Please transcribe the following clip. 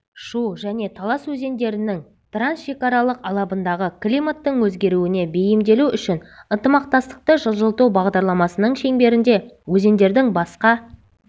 шу және талас өзендерінің трансшекаралық алабындағы климаттың өзгеруіне бейімделу үшін ынтымақтастықты жылжыту бағдарламасының шеңберінде өзендердің басқа